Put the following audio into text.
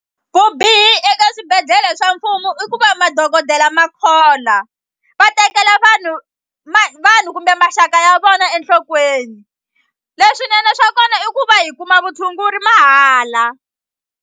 Vubihi eka swibedhlele swa mfumo i ku va madokodela ma khola va tekela vanhu vanhu kumbe maxaka ya vona enhlokweni leswinene swa kona i ku va hi kuma vutshunguri mahala.